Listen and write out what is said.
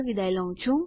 જોડાવા બદ્દલ આભાર